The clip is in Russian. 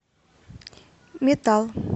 метал